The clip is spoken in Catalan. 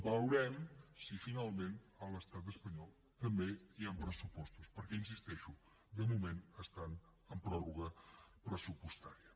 veurem si finalment a l’estat espanyol també hi han pressupostos perquè hi insisteixo de moment estan en pròrroga pressupostària